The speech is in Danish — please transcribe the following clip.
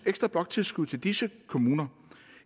ekstra bloktilskud til disse kommuner